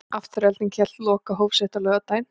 Afturelding hélt lokahóf sitt á laugardaginn.